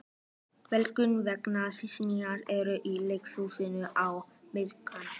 Vélaug, hvaða sýningar eru í leikhúsinu á miðvikudaginn?